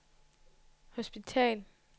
hospital